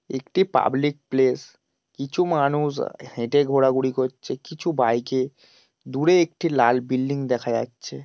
একটি public place. কিছু মানুষ আ হেঁটে ঘোরাঘুরি করছে কিছু বাইক -এ দূরে একটি লাল বিল্ডিং দেখা যাচ্ছে।